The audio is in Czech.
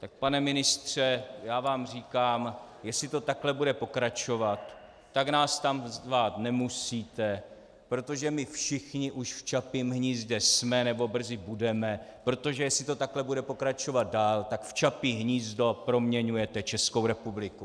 Tak pane ministře, já vám říkám, jestli to takhle bude pokračovat, tak nás tam zvát nemusíte, protože my všichni už v Čapím hnízdě jsme nebo brzy budeme, protože jestli to takhle bude pokračovat dál, tak v Čapí hnízdo proměňujete Českou republiku.